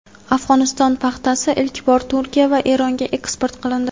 Afg‘oniston paxtasi ilk bor Turkiya va Eronga eksport qilindi.